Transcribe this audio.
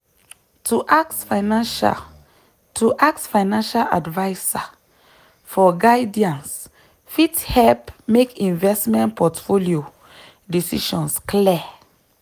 to ask financial to ask financial advisor for guidance fit help make investment portfolio decisions clear.